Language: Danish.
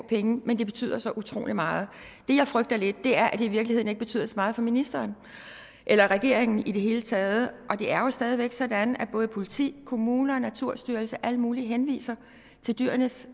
penge men det betyder så utrolig meget det jeg frygter lidt er at det i virkeligheden ikke betyder så meget for ministeren eller regeringen i det hele taget og det er jo stadigvæk sådan at både politi kommuner naturstyrelsen og alle mulige henviser til dyrenes